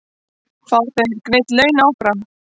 Fá þeir greidd laun áfram?